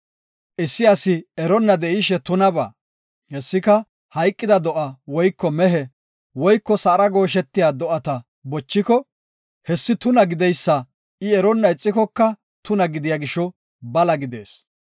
Issi asi eronna de7ishe tunabaa, hessika, hayqida do7a woyko mehe woyko sa7ara gooshetiya do7ata bochiko, hessi tuna gideysa I eronna ixikoka tuna gidiya gisho bala gidees.